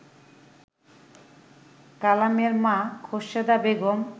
কালামের মা খোর্শেদা বেগম